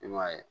I m'a ye